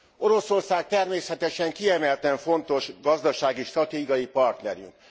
Oroszország természetesen kiemelten fontos gazdasági, stratégiai partnerünk.